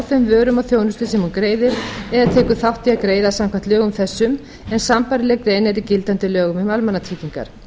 þeim vörum og þjónustu sem hún greiðir eða tekur þátt í að greiða samkvæmt lögum þessum en sambærileg grein er í gildandi lögum um almannatryggingar